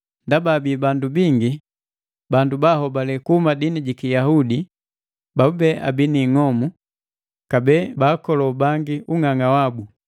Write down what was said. Ndaba abii bandu bingi, bandu bahobale kuhuma dini jiki Yahudi, babube abii ni ing'omu, kabee baakolo bangi ku ung'ang'a wabu.